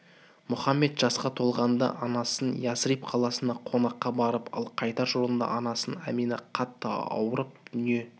мұхаммед жасқа толғанда анасымен ясриб қаласына қонаққа барып ал қайтар жолында анасы амина қатты ауырып дүние